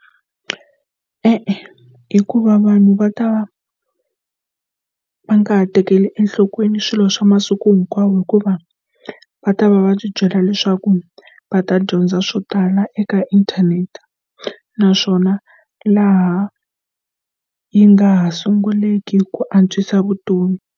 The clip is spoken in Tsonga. E-e, hikuva vanhu va ta va va nga ha tekeli enhlokweni swilo swa masiku hinkwawo hikuva va ta va va byela leswaku va ta dyondza swo tala eka inthanete naswona laha yi nga ha sunguleke ku antswisa vutomi.